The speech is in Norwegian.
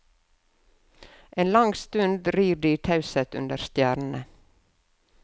En lang stund rir de i taushet under stjernene.